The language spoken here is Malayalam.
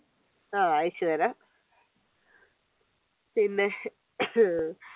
ആഹ് അയച്ചു തരാം പിന്നെ